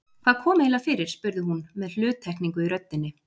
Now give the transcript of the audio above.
Hvað kom eiginlega fyrir spurði hún með hluttekningu í röddinni.